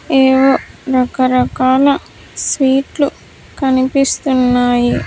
ఏవో రకరకాల స్వీట్ లు కనిపిస్తున్నాయి .